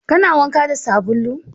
Kana wanka da sabulu?